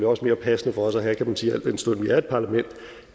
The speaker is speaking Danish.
også mere passende for os at have kan man sige al den stund vi er et parlament